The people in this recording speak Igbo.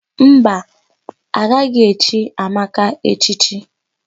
Mba, a gaghị echi Ụzọamaka echichi.